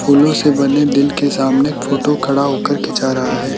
फूलों से बने दिल के सामने एक फोटो खड़ा होकर खींचा रहा है।